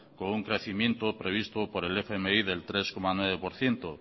con un crecimiento previsto por el fmi del tres coma nueve por ciento